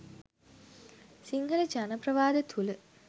සිංහල ජන ප්‍රවාද තුල